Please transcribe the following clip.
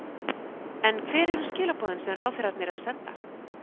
En hver eru skilaboðin sem ráðherrarnir eru að senda?